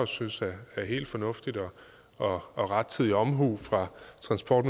synes er helt fornuftigt og og rettidig omhu fra transport